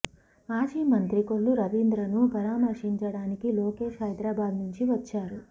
మాజీ మంత్రి కొల్లు రవీంద్రను పరామర్శించడానికి లోకేష్ హైదరాబాద్ నుంచి వచ్చారు